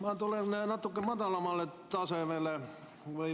Ma tulen natuke madalamale tasemele.